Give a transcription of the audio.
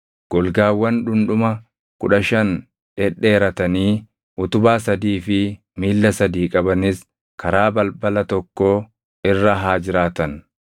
Golgaawwan dhundhuma kudha shan dhedheeratanii utubaa sadii fi miilla sadii qabanis karaa balbala tokkoo irra haa jiraatan.